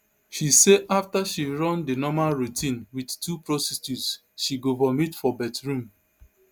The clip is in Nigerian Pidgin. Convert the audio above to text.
she say afta she run di normal routine wit two prostitutes she go vomit for bathroom